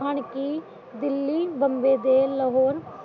ਹੁਣ ਕਿ ਦਿੱਲੀ ਬੰਦੇ ਜੇਲ ਲਵੇ